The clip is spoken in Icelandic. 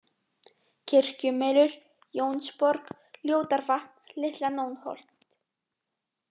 Kirkjumelur, Jónsborg, Ljótarvatn, Litla-Nónholt